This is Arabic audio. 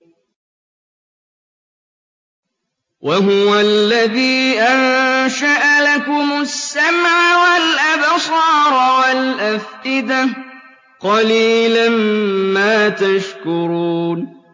وَهُوَ الَّذِي أَنشَأَ لَكُمُ السَّمْعَ وَالْأَبْصَارَ وَالْأَفْئِدَةَ ۚ قَلِيلًا مَّا تَشْكُرُونَ